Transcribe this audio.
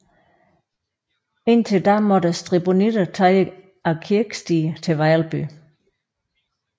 Indtil da måtte stribonitterne tage ad kirkestier til Vejlby